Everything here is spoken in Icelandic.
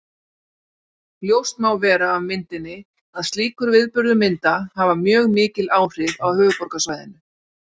Ljóst má vera af myndinni að slíkur viðburður mynda hafa mjög mikil áhrif á höfuðborgarsvæðinu.